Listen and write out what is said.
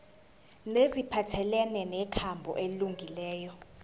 neziphathelene nenkambo elungileyo